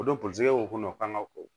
O don segi ko kɔnɔ kan ka ko